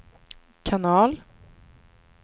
kanal